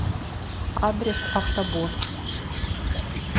адрес автобосс